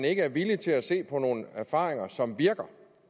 ikke er villige til at se på nogle erfaringer som virker